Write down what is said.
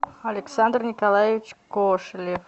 александр николаевич кошелев